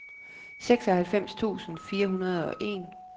seksoghalvfems tusind fire hundrede og en